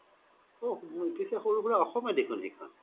ওহ পিচে সৰু সুৰা অসমে দেখুন সেইখন